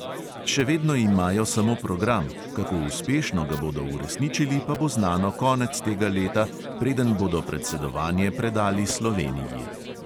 Še vedno imajo samo program, kako uspešno ga bodo uresničili, pa bo znano konec tega leta, preden bodo predsedovanje predali sloveniji.